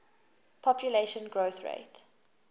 population growth rate